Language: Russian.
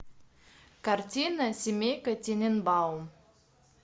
картина семейка тененбаум